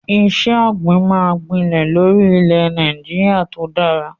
Iṣẹ́ ọ̀gbìn máa ń gbilẹ̀ lórí ilẹ̀ Nàìjíríà tó dára.